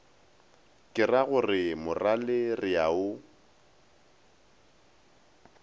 keragore morale re a o